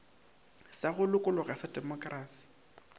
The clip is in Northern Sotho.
sa go lokologa sa demokrasi